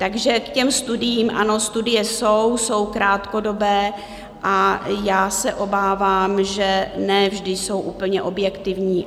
Takže k těm studiím: ano, studie jsou, jsou krátkodobé a já se obávám, že ne vždy jsou úplně objektivní.